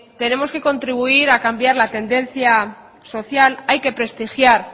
tenemos que contribuir a cambiar la tendencia social hay que prestigiar